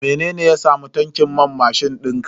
Mene ya samu tankin man mashin dinka?